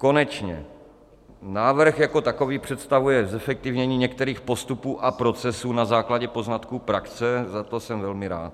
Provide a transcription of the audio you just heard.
Konečně návrh jako takový představuje zefektivnění některých postupů a procesů na základě poznatků praxe, za to jsem velmi rád.